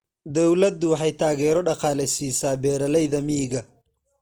Dawladdu waxay taageero dhaqaale siisaa beeralayda miyiga.